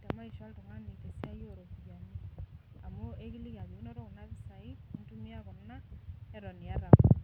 te maisha oltung'ani te siai oo ropiani amu ekiliki ajo inoto kuna pisai, nintumia kuna, neton iyata kuna.